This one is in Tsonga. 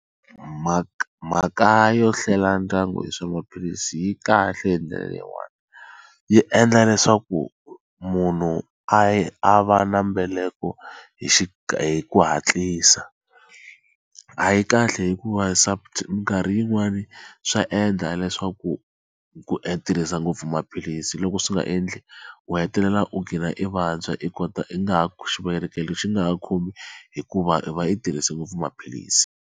Mhaka mhaka yo hlela ndyangu hi swa maphilisi yi kahle hi ndlela yin'wani yi endla leswaku munhu a yi a va na mbeleko hi xi hi ku hatlisa a yi kahle hikuva minkarhi yin'wani swa endla leswaku ku tirhisa ngopfu maphilisi loko swi nga endli u hetelela u qhina i vabya i kota i nga ha xivelekelo xi nga ha khomi hikuva i va i tirhise ngopfu maphilisi.